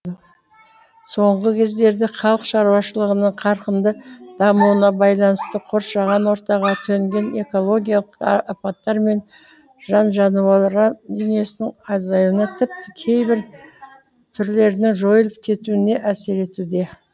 соңғы кездерде халық шаруашылығының қарқынды дамуына байланысты қоршаған ортаға төнген экологиялық апаттар жан жануарлар дүниесінің азаюына тіпті кейбір түрлерінің жойылып кетуіне әсер етуде